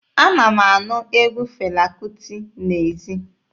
Ana m anụ egwu Fela Kuti n'ezi.